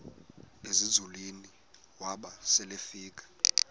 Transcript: ezinzulwini waba selefika